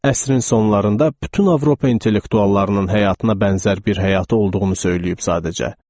Əsrin sonlarında bütün Avropa intellektuallarının həyatına bənzər bir həyatı olduğunu söyləyib sadəcə.